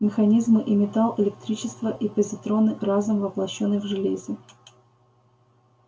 механизмы и металл электричество и позитроны разум воплощённый в железе